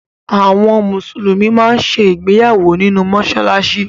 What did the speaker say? Àwọn Mùsùlùmí máa ń ṣe ìgbéyàwó nínú mọ́ṣáláṣí